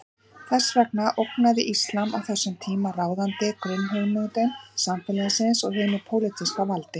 Þess vegna ógnaði íslam á þessum tíma ráðandi grunnhugmyndum samfélagsins og hinu pólitíska valdi.